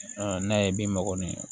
n'a ye bin mɔgɔ min